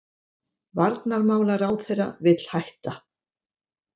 Varnarmálaráðherra vill hætta